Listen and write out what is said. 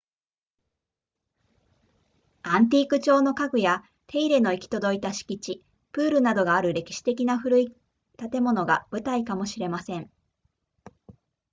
アンティーク調の家具や手入れの行き届いた敷地プールなどがある歴史的な古い建物が舞台かもしれません